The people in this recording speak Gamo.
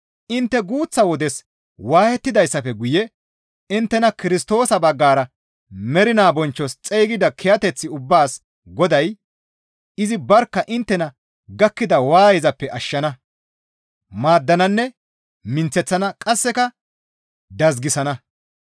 Intte guuththa wodes waayettidayssafe guye inttena Kirstoosa baggara mernaa bonchchos xeygida kiyateth ubbaas Goday izi barkka inttena gakkida waayezappe ashshana, maaddananne minththeththana qasseka dazgisana.